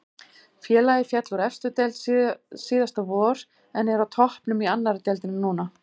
Félagið féll úr efstu deild síðasta vor en er á toppnum í annari deildinni núna.